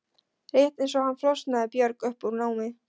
Rétt eins og hann flosnaði Björg upp úr námi.